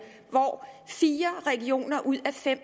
hvor fire regioner ud af fem